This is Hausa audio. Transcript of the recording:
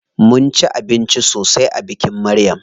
Mun ci abinci sosai a bikin Maryam.